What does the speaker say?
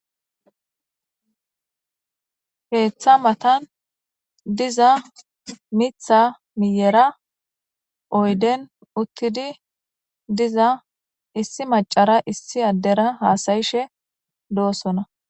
Keeththa matan diza mitha miyera oyden uttidi diza issi macara issi addera haasayishe do7osona